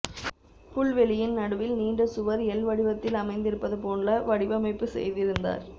புல்வெளியின் நடுவில் நீண்ட சுவர் எல் வடிவத்தில் அமைந்திருப்பது போல வடிவமைப்பு செய்திருந்தார்